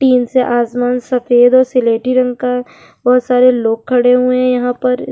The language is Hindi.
टीन से आसमान सफ़ेद और सिलेटी रंग का बहोत सारे लोग खड़े हुए है यहाँ पर।